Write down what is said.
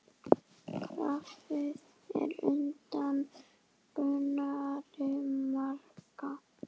Grafið er undan Gunnari Braga.